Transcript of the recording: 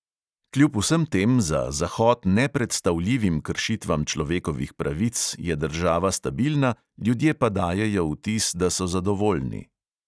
Kljub vsem tem za zahod nepredstavljivim kršitvam človekovih pravic je država stabilna, ljudje pa dajejo vtis, da so zadovoljni.